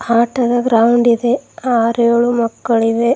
ಆಟದ ಗ್ರೌಂಡ್ ಇದೆ ಆರ್ಯೋಳು ಮಕ್ಕಳಿವೆ.